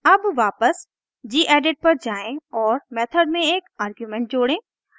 अब वापस gedit पर जाएँ और मेथड में एक आर्गुमेंट जोड़ें